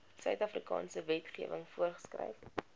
suidafrikaanse wetgewing voorgeskryf